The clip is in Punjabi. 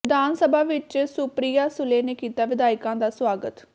ਵਿਧਾਨ ਸਭਾ ਵਿਚ ਸੁਪ੍ਰਿਆ ਸੁਲੇ ਨੇ ਕੀਤਾ ਵਿਧਾਇਕਾਂ ਦਾ ਸਵਾਗਤ